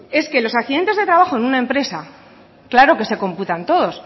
es que los accidentes de trabajo en una empresa claro que se computan todos